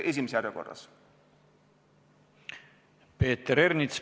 Peeter Ernits, palun!